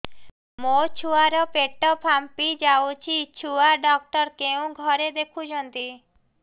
ମୋ ଛୁଆ ର ପେଟ ଫାମ୍ପି ଯାଉଛି ଛୁଆ ଡକ୍ଟର କେଉଁ ଘରେ ଦେଖୁ ଛନ୍ତି